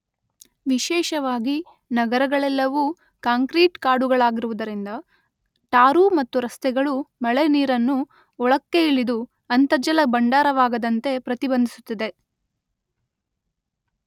ವಿಶೇಷವಾಗಿ ನಗರಗಳಲ್ಲೆವೂ ಕಾಂಕ್ರೀಟ್ ಕಾಡುಗಳಾಗಿರುವುದರಿಂದ ಟಾರು ಮತ್ತು ರಸ್ತೆಗಳು ಮಳೆ ನೀರನ್ನು ಒಳಕ್ಕೆ ಇಳಿದು ಅಂತರ್ಜಲ ಭಂಡಾರವಾಗದಂತೆ ಪ್ರತಿಬಂಧಿಸುತ್ತದೆ.